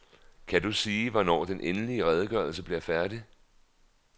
Kan du sige, hvornår den endelige redegørelse bliver færdig?